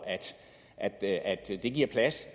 at det det giver plads